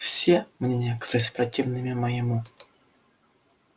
все мнения оказались противными моему